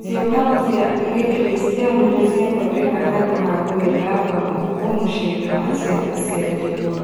Ciũngano cia gĩkristiano nĩciathondeka handũ ha gũĩthamba moko mũciĩ-inĩ wa ciana cia dĩgwa